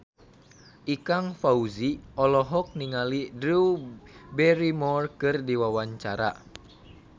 Ikang Fawzi olohok ningali Drew Barrymore keur diwawancara